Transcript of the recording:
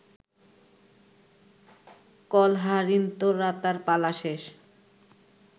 কলহারিন্তরাতার পালা শেষ